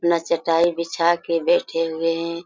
ना चटाई बिछा के बैठे हुए है।